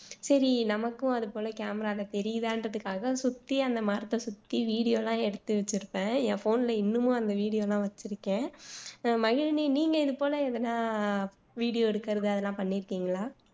சரி நமக்கும் அது போல் camera ல தெரியுதான்றதுக்காக சுத்தி அந்த மரத்தை சுத்தி video எல்லாம் எடுத்து வச்சுருப்பேன் என் phone ல இன்னமும் அந்த video எல்லாம் வச்சுருக்கேன் அஹ் மகிழினி நீங்க இது போல எதனா video எடுக்குறது அதெல்லாம் பண்ணியிருக்கீங்களா